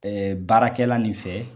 baarakɛla nin fɛ